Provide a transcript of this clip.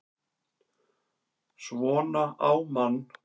SVONA Á MANN!